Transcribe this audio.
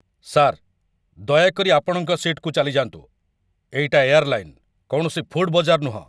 Sir, ଦୟାକରି ଆପଣଙ୍କ ସିଟ୍‌କୁ ଚାଲିଯାଆନ୍ତୁ । ଏଇଟା ଏୟାରଲାଇନ୍‌, କୌଣସି ଫୁଡ଼୍ ବଜାର ନୁହଁ ।